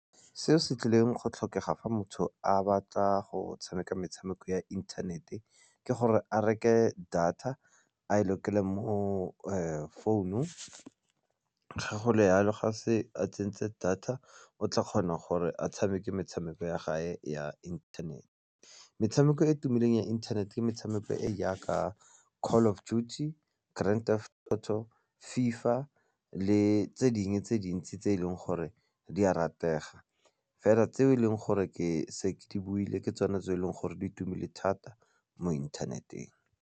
Se se tlileng go tlhokega fa motho a batla go tshameka metshameko ya inthanete ke gore a reke data a e lokele mo founung ga go le yalo ga se a tsentse data o tla kgona gore a tshameke metshameko ya gage ya internet-e. Metshameko e e tumileng ya inthanete ke metshameko e yaka Call of Duty, Grand Theft Auto, fifa le tse dingwe tse dintsi tse e leng gore di a ratega, fela tse e leng gore ke setse ke buile ke tsone tse e leng gore di itumele thata mo inthaneteng.